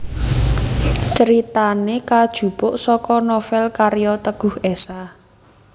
Critane kajupuk saka novel karya Teguh Esha